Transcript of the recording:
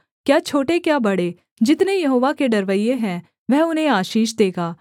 क्या छोटे क्या बड़े जितने यहोवा के डरवैये हैं वह उन्हें आशीष देगा